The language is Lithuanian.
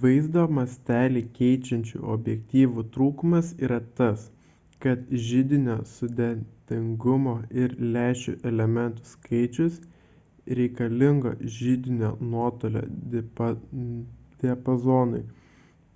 vaizdo mąstelį keičiančių objektyvų trūkumas yra tas kad židinio sudėtingumo ir lęšių elementų skaičiaus reikalingo židinio nuotolio diapazonui